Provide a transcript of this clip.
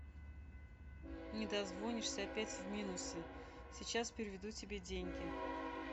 не дозвонишься опять в минусе сейчас переведу тебе деньги